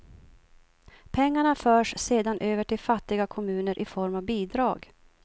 Pengarna förs sedan över till fattiga kommuner i form av bidrag.